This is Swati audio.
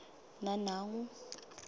nanangu